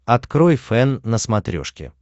открой фэн на смотрешке